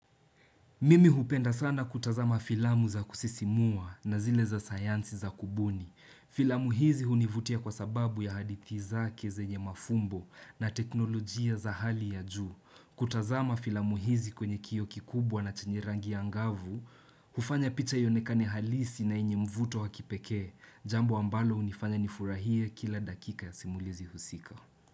Mimi hupenda sana kutazama filamu za kusisimua na zile za sayansi za kubuni. Filamu hizi hunivutia kwa sababu ya hadithi zake zenye mafumbo na teknolojia za hali ya juu. Kutazama filamu hizi kwenye kioo kikubwa na chenye rangi ya ngavu, ufanya picha ionekane halisi na inye mvuto wa kipeke. Jambo ambalo unifanya nifurahie kila dakika ya simulizi husika.